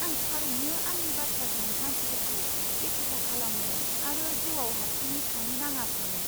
आं थारैनो आंनि बाथ्राजों मानसिफोरखौ एखुथा खालामनो आरो जिउआव हारसिङै थानो नाङा सानो।